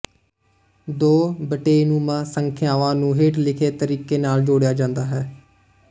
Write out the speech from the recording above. ਦੋ ਬਟੇਨੁਮਾ ਸੰਖਿਆਵਾਂ ਨੂੰ ਹੇਠ ਲਿਖੇ ਤਰੀਕੇ ਨਾਲ ਜੋੜਿਆ ਜਾਂਦਾ ਹੈ